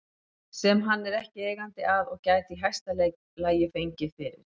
sem hann er ekki eigandi að og gæti í hæsta lagi fengið fyrir